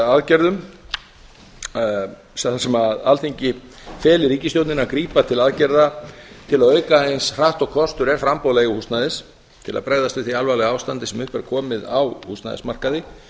aðgerðum þar sem alþingi feli ríkisstjórninni að grípa til aðgerða til að auka eins hratt og kostur er framboð leiguhúsnæðis til að bregðast við því alvarlega ástandi sem upp er komið á húsnæðismarkaði